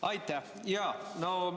Aitäh!